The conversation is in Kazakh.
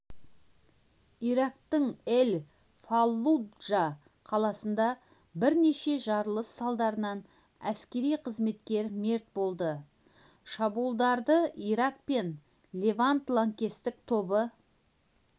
ирактың эль-фаллуджа қаласында бірнеше жарылыс салдарынан әскери қызметкер мерт болды шабуылдарды ирак пен левант лаңкестік тобы